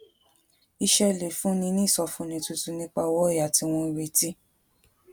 iṣé lè fúnni ní ìsọfúnni tuntun nípa owó òyà tí wón ń retí